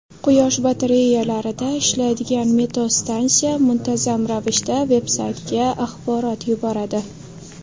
Quyosh batareyalarida ishlaydigan meteostansiya muntazam ravishda vebsaytga axborot yuboradi.